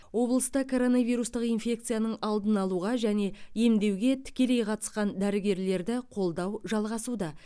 облыста коронавирустық инфекцияның алдын алуға және емдеуге тікелей қатысқан дәрігерлерді қолдау жалғасуда